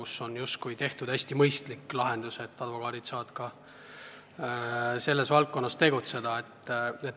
Seal on tehtud hästi mõistlik lahendus, et advokaadid saavad ka selles valdkonnas tegutseda.